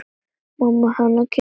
Mamma hennar kinkar kolli.